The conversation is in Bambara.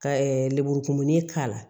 Ka lenburukumuni k'a la